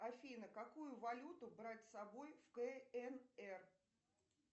афина какую валюту брать с собой в кнр